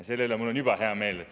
Selle üle on mul juba hea meel.